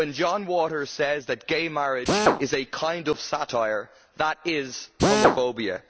When John Waters says that gay marriage is a kind of satire, that is homophobia.